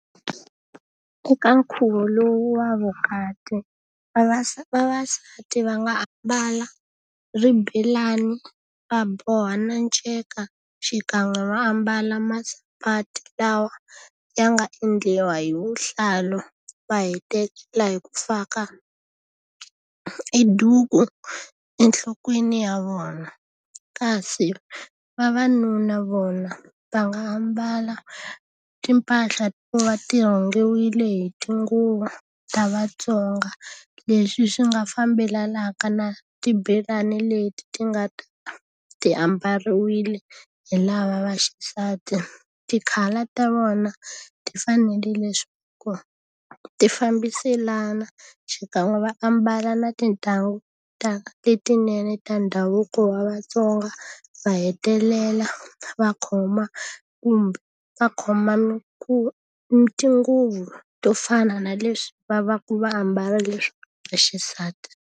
Eka nkhuvo lowu wa vukati, vavasati va nga ambala swibelani, va boha nceka, xikan'we va ambala masapati lawa ya nga endliwa hi vuhlalu, va hetelela hi ku faka e duku enhlokweni ya vona. Kasi vavanuna vona va nga ambala timpahla to va ti rhungiwile hi tinguva ta vaTsonga, leswi swi nga fambelanaka na swibelani leti ti nga ta ti ambariwile hi lava va xisati. Ti-colour ta vona ti fanele leswaku ti fambiselana, xikan'we va ambala na tintangu ta letinene ta ndhavuko wa vaTsonga, va hetelela va khoma kumbe va khoma tinguvu to fana na leswi va va ku va ambala leswi va xisati.